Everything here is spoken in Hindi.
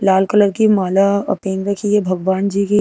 लाल कलर की माला अ पहन रखी है भगवान जी की।